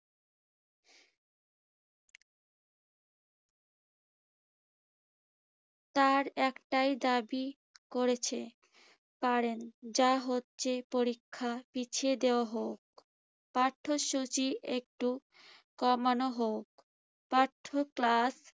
তারা একটাই দাবি করেছে পারেন। যা হচ্ছে পরীক্ষা পিছিয়ে দেওয়া হোক। পাঠ্যসূচি একটু কমানো হোক। পাঠ্য